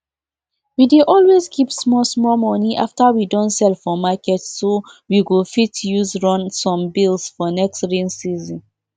um we dey pound dry locust beans wey don dey inside water for long join feed for weak um chicken to give dem to give dem energy. um